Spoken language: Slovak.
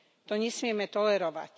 To nesmieme tolerovať.